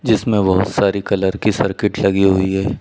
जिसमें बोहोत सारी कलर की सर्किट लगी हुई है।